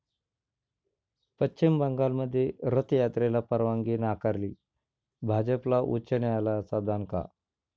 पश्चिम बंगालमध्ये रथयात्रेला परवानगी नाकारली. भाजपला उच्च न्यायालयाचा दणका